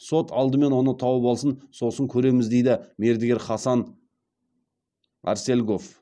сот алдымен оны тауып алсын сосын көреміз дейді мердігер хасан арсельгов